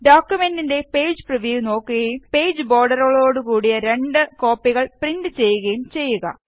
ഡോക്കുമെന്റിന്റെ page preview നോക്കുകയും page ബോര്ഡറുകളോട് കൂടി രണ്ട് കോപ്പികള് പ്രിന്റ് ചെയ്യുകയും ചെയ്യുക